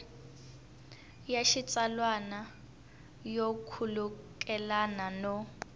ya xitsalwana yo khulukelana no